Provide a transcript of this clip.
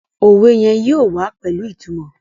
òwe yén yóò wá pẹlu ìtumò.